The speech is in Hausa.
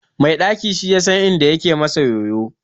Mai daki shi yasan inda ke masa yoyo